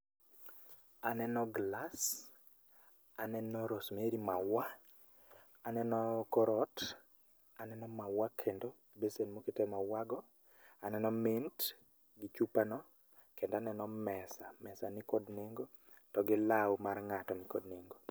Aneno glas, aneno rosemary maua , aneno korot aneno maua kendo besen moket emaua go aneno mesa , mesa nikod nengo kendo law mar g'ato nikod nengo.